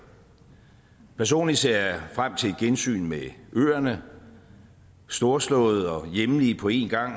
personligt ser jeg frem til et gensyn med øerne storslåede og hjemlige på en gang